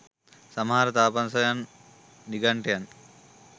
සමහර තාපසයන්, නිගණ්ඨයන්,